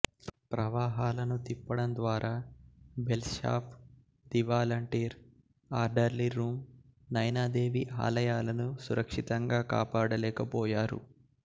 ప్రవాహాలను తిప్పడం ద్వారా bells shop దివాలంటీర్ orderly room Naina Devi ఆలయాలను సురక్షితంగా కాపాడలేకపోయారు